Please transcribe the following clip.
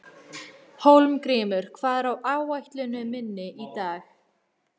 Hólmgrímur, hvað er á áætluninni minni í dag?